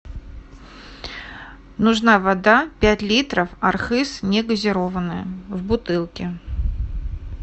нужна вода пять литров архыз негазированная в бутылке